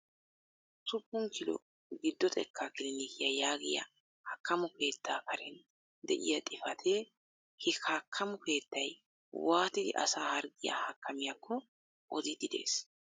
Usuppun kilo giddo xekkaa kilinikyaa yaagiyaa haakkamo keettaa karen de'iyaa xifaatee he hakkamo keettay waatidi asaa harggiyaa hakkamiyaako odiidi de'ees.